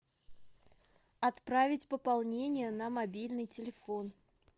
отправить пополнение на мобильный телефон